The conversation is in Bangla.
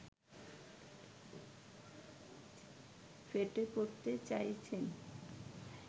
ফেটে পড়তে চাইছেন